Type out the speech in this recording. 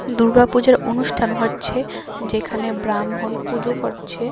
দুর্গাপূজার অনুষ্ঠান হচ্ছে যেখানে ব্রাহ্মণ পুজো করছে।